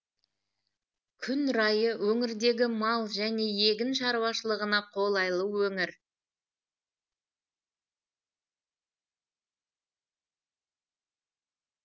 күн райы өңірдегі мал және егін шаруашылығына қолайлы өңір